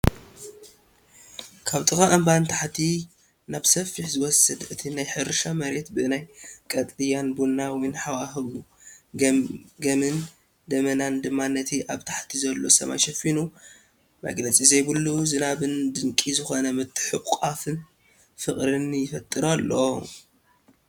ካብ ጥቓ እምባ ንታሕቲ ናብ ሰፊሕ ዝወስድ፣ እቲ ናይ ሕርሻ መሬት ብናይ ቀጠልያን ቡናዊን ሃዋህው ግመን ደበናታት ድማ ነቲ ኣብ ታሕቲ ዘሎ ሰማይ ሸፊኑ፡ መግለጺ ዘይብሉ ዝናብን ድንቂ ዝኾነ ምትሕቑቓፍ ፍቕርን ይፈጥር ኣሎ።